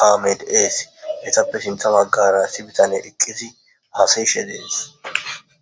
kaamee de7ees; hethappe sinththa baggaara issi bithanee eqqizi haasayishe de7ees.